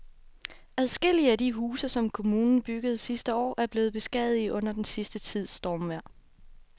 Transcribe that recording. Adskillige af de huse, som kommunen byggede sidste år, er blevet beskadiget under den sidste tids stormvejr.